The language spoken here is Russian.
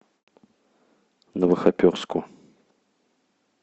новохоперску